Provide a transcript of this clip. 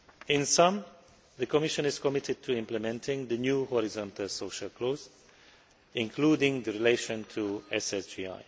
In summary, the Commission is committed to implementing the new horizontal social clause, including the relation to SSGI.